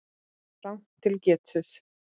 Rangt til getið